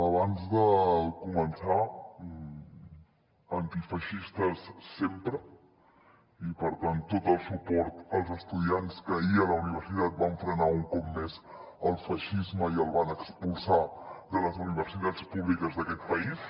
abans de començar antifeixistes sempre i per tant tot el suport als estudiants que ahir a la universitat van frenar un cop més el feixisme i el van expulsar de les universitats públiques d’aquest país